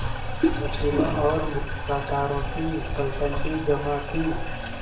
वकीलों और मुख्तारों की पलटन भी जमा थी